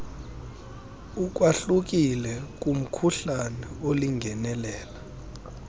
ukwahlukile kumkhuhlane olingenelela